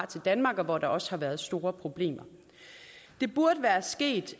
til danmark og hvor der også har været store problemer det burde være sket